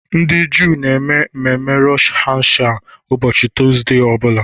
Ndị Juu na-eme mmemme Rosh Hashanah ụbọchị tọọzdee ọ bụla.